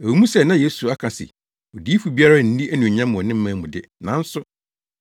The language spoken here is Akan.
Ɛwɔ mu sɛ na Yesu aka se, “Odiyifo biara nni anuonyam wɔ ne man mu” de, nanso